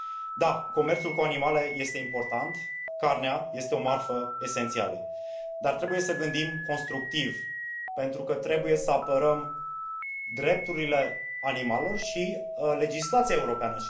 Da, comerțul cu animale este important, carnea este o marfă esențială, dar trebuie să gândim constructiv, pentru că trebuie să apărăm drepturile animalelor și legislația europeană.